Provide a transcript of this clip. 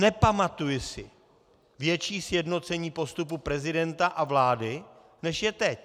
Nepamatuji si větší sjednocení postupu prezidenta a vlády, než je teď.